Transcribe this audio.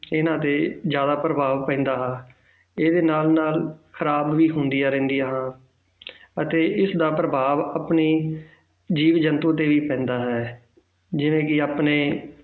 ਇਹਨਾਂ ਤੇ ਜ਼ਿਆਦਾ ਪ੍ਰਭਾਵ ਪੈਂਦਾ ਹੈ, ਇਹਦੇ ਨਾਲ ਨਾਲ ਖ਼ਰਾਬ ਵੀ ਹੁੰਦੀਆਂ ਰਹਿੰਦੀਆਂ ਹਨ ਅਤੇ ਇਸਦਾ ਪ੍ਰਭਾਵ ਆਪਣੀ ਜੀਵ ਜੰਤੂ ਤੇ ਵੀ ਪੈਂਦਾ ਹੈ ਜਿਵੇਂ ਕਿ ਆਪਣੇ